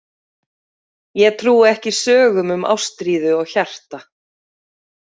Ég trúi ekki sögum um ástríðu og hjarta.